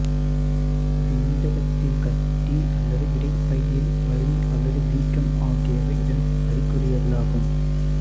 விந்தகத்தில் கட்டி அல்லது விதைப்பையில் வலி அல்லது வீக்கம் ஆகியவை இதன் அறிகுறிகளாகும்